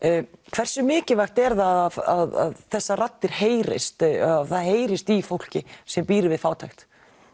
hversu mikilvægt er að þessar raddir heyrist að það heyrist í fólki sem býr við fátækt